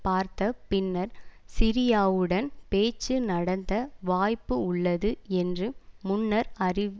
பார்த்த பின்னர் சிரியாவுடன் பேச்சு நடத்த வாய்ப்பு உள்ளது என்று முன்னர் அறி